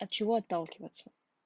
от чего отталкиваться